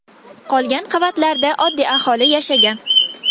Qolgan qavatlarda oddiy aholi yashagan.